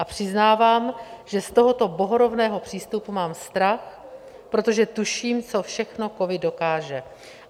A přiznávám, že z tohoto bohorovného přístupu mám strach, protože tuším, co všechno covid dokáže.